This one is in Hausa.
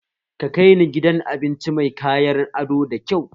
Ka kai ni gidan abinci mai kayan ado da kyau!